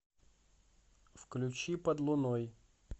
включи под луной